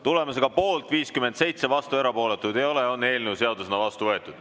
Tulemusega poolt 57, vastuolijaid ega erapooletuid ei ole, on eelnõu seadusena vastu võetud.